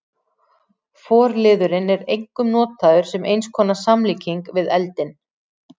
Forliðurinn er einkum notaður sem eins konar samlíking við eldinn.